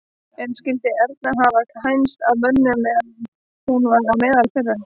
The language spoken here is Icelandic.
En skyldi Erna hafa hænst að mönnum meðan hún var á meðal þeirra?